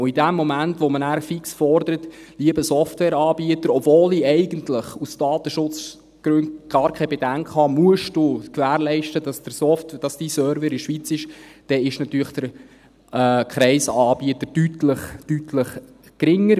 Und in dem Moment, wo man nachher fix fordert, «Lieber Softwareanbieter, obwohl ich eigentlich aus Datenschutzgründen gar keine Bedenken habe, musst du gewährleisten, dass dein Server in der Schweiz ist», dann ist natürlich der Kreis an Anbietern deutlich, deutlich geringer.